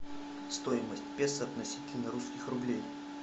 стоимость песо относительно русских рублей